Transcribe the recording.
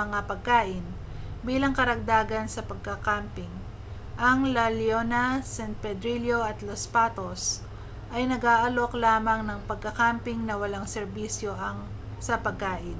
mga pagkain bilang karagdagan sa pagka-camping ang la leona san pedrillo at los patos ay nag-aalok lamang ng pagkakamping na walang serbisyo sa pagkain